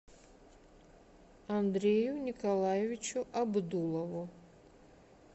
андрею николаевичу абдулову